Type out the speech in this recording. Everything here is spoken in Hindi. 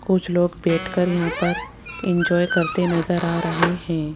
कुछ लोग बैठकर यहां पर इंजॉय करते नजर आ रहे हैं।